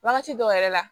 Wagati dɔw yɛrɛ la